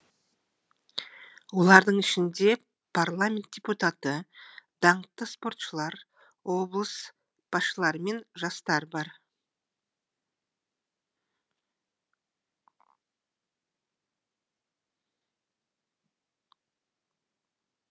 олардың ішінде парламент депутаты даңқты спортшылар облыс басшылары мен жастар бар